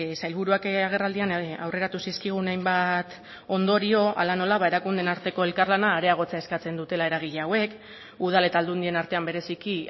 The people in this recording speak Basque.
sailburuak agerraldian aurreratu zizkigun hainbat ondorio hala nola ba erakundeen arteko elkarlana areagotzea eskatzen dutela eragile hauek udal eta aldundien artean bereziki